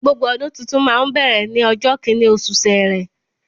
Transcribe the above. Gbogbo ọdún tuntun máa ń bẹ̀rẹ̀ ní ọjọ́ kíní, osù sẹrẹ